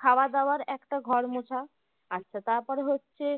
খাওয়া দাবার একটা ঘর মোছা তারপরে হচ্ছে